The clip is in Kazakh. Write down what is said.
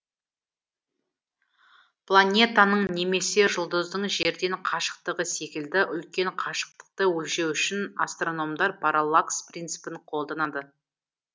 планетаның немесе жұлдыздың жерден қашықтығы секілді үлкен қашықтықты өлшеу үшін астрономдар параллакс принципін қолданады